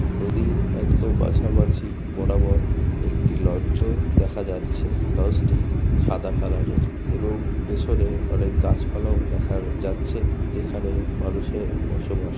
নদীর একদম বাছা বাচি বরাবর একটি লঞ্চ ও দেখা যাচ্ছে। লঞ্চ টি সাদা কালার এর এবং পেছনে অনেক গাছপালা ও দেখার যাচ্ছে যেখানে মানুষের বসবাস।